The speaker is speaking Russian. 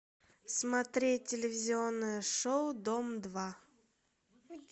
смотреть телевизионное шоу дом два